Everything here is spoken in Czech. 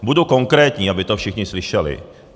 Budu konkrétní, aby to všichni slyšeli.